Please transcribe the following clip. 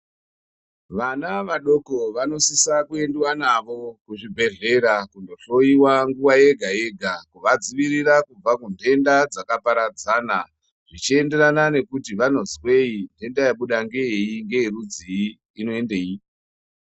Vana vadoko ,vanosisa kuendwa navo kuzvibhedlera kunohloyiwa nguva yega yega, kuvadzivirira kubva kuntenda dzakaparadzana zvichienderana ngekuti vanonzweyi, ntenda yabuda ngeyeyi, ngeyerudzii, inoendeyi.